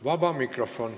Vaba mikrofon.